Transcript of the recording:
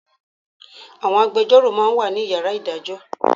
Àwọn agbejọ́rò ma ń wà ní Yàrá ìdájọ́